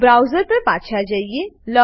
તો બ્રાઉઝર પર પાછા જઈએ